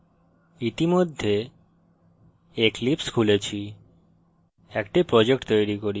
আমি ইতিমধ্যে eclipse খুলেছি